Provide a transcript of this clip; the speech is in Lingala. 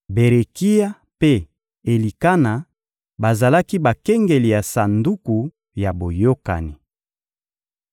Berekia mpe Elikana, bazalaki bakengeli ya Sanduku ya Boyokani.